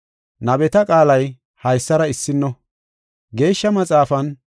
Nabeta qaalay haysara issino. Geeshsha Maxaafan,